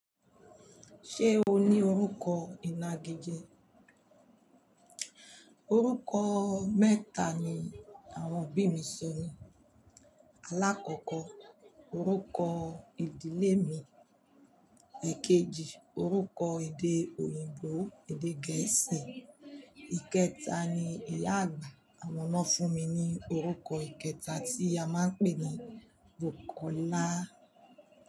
Ṣé o ní orúkọ ìnagijẹ? Orúkọ mẹ́ta ni àwọn òbí mi sọ mi. Alákọ̀ọ́kọ́ orúkọ ìdílé mi, èkejì orúkọ èdè òyìnbó èdè gẹ̀ẹ́sì, ìkẹta ni ìyá àgbà àwọn na fún mi ní orúkọ ìkẹta tí a máa ń pè ní Bukola.